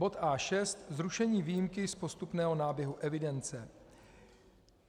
A.6 Zrušení výjimky z postupného náběhu evidence